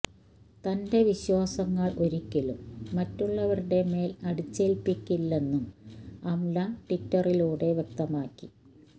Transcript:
തന്റെ വിശ്വാസങ്ങള് ഒരിയ്ക്കലും മറ്റുള്ളവരുടെ മേല് അടിച്ചേല്പിയ്ക്കില്ലെന്നും അംല ട്വിറ്ററിലൂടെ വ്യക്തമാക്കി